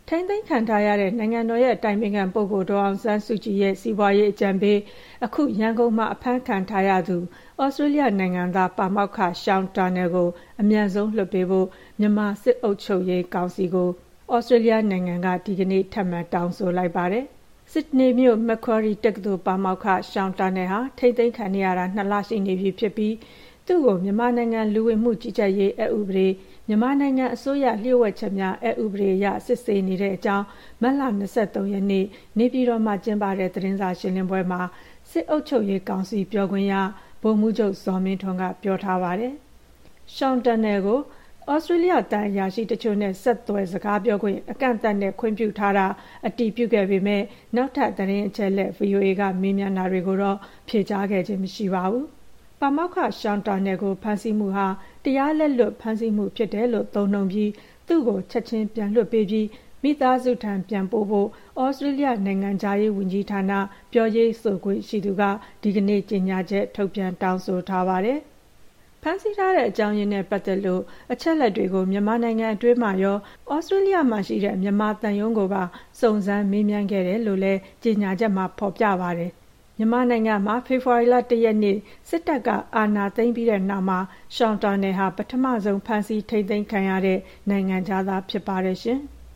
ထိန်းသိမ်းခံထားရတဲ့ နိုင်ငံတော်အတိုင်ပင်ခံပုဂ္ဂိုလ် ဒေါ်အောင်ဆန်းစုကြည်ရဲ့ စီးပွားရေးအကြံပေးဖြစ်သူ အခု မြန်မာနိုင်ငံမှာ အဖမ်းခံထားရတဲ့ သြစတြေးလျနိုင်ငံသား ပါမောက္ခ Sean Turnell ကို အမြန်ဆုံး ပြန်လွှတ်ပေးဖို့ မြန်မာစစ်အုပ်ချုပ်ရေးကောင်စီကို သြစတြေးလျနိုင်ငံက ဒီကနေ့ ထပ်မံ တောင်းဆိုလိုက်ပါတယ်။ ဆစ်ဒနီမြို့ Macquarie တက္ကသိုလ် ပါမောက္ခ Sean Turnell ဟာ ထိန်းသိမ်းခံနေရတာ ၂ လရှိပြီဖြစ်ပြီး သူ့ကို မြန်မာနိုင်ငံ လူဝင်မှုကြီးကြပ်ရေးအက်ဥပဒေ၊ မြန်မာနိုင်ငံ အစိုးရလျှို့ဝှက်ချက်များ အက်ဥပဒေအရ စစ်ဆေးနေတဲ့အကြောင်း မတ်လ ၂၃ ရက်နေ့ နေပြည်တော်မှာကျင်းပတဲ့ သတင်းစာရှင်းလင်းပွဲမှာ စစ်အုပ်ချုပ်ရေးကောင်စီ ပြောခွင့်ရ ဗိုလ်မှူးချုပ် ဇော်မင်းထွန်းက ပြောဆိုထားပါတယ်။ Sean Turnell ကို သြစတြေးလျ သံအရာရှိတချို့နဲ့ ဆက်သွယ် စကားပြောခွင့် အကန့်အသတ်နဲ့ ခွင့်ပြုထားတာ အတည်ပြုခဲ့ပေမယ့် နောက်ထပ် သတင်းအချက်အလက် VOA က မေးမြန်းတာတွေကိုတော့ ဖြေကြားခဲ့ခြင်းမရှိပါဘူး။ ပါမောက္ခ Sean Turnell ကို ဖမ်းဆီးမှုဟာ တရားလက်လွတ် ဖမ်းဆီးမှုဖြစ်တယ်လို့ သုံးနှုန်းပြီး သူ့ကို ချက်ခြင်း ပြန်လွှတ်ပေးပြီး မိသားစုထံ ပြန်ပို့ဖို့ သြစတြေးလျ နိုင်ငံခြားရေးဝန်ကြီးဌာန ပြောရေးဆိုခွင့် ရှိသူက ဒီကနေ့ ကြေညာချက် ထုတ်ပြန် တောင်းဆိုထားပါတယ်။ ဖမ်းဆီးထားတဲ့ အကြောင်းရင်းနဲ့ ပတ်သက်လို့ အချက်အလက်တွေကို မြန်မာနိုင်ငံ အတွင်းမှာရော၊ သြစတြေးလျမှာရှိတဲ့ မြန်မာသံရုံးကိုပါ စုံစမ်းမေးမြန်းခဲ့တယ်လို့ ကြေညာချက်မှာ ဖော်ပြထားပါတယ်။ မြန်မာနိုင်ငံမှာ ဖေဖော်ဝါရီ ၁ ရက်နေ့ စစ်တပ်က အာဏာသိမ်းပြီးတဲ့ နောက်ပိုင်းမှာ Sean Turnell ဟာ ပထမဆုံးဖမ်းဆီး ထိန်းသိမ်းခံရတဲ့နိုင်ငံခြားသား ဖြစ်ပါတယ်။